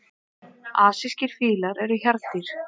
Asískir fílar eru hjarðdýr.